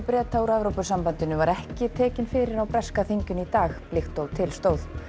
Breta úr Evrópusambandinu var ekki tekinn fyrir á breska þinginu í dag líkt og til stóð